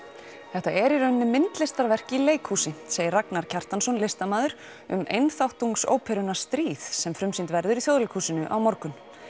þetta er í rauninni myndlistarverk í leikhúsi segir Ragnar Kjartansson listamaður um stríð sem frumsýnd verður í Þjóðleikhúsinu á morgun